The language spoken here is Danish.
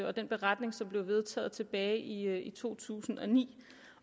og den beretning som blev vedtaget tilbage i to tusind og ni